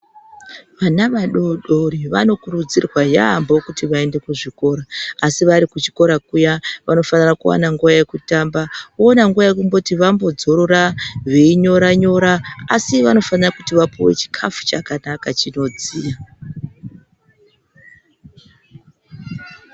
Vana vadodori vanokurudzirwa yaampho kuti vaende kuzvikora. Asi vari kuchikora kuya, vanofanira kuwana nguva yekutamba, oona nguva yekumboti vambodzorora, veinyora-nyora, asi vanofana kuti vapuwe chikhafu chakanaka chinodziya.